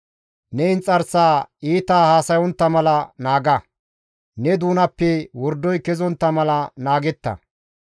Ne inxarsaa iita haasayontta mala naaga; ne doonappe wordoy kezontta mala naagetta.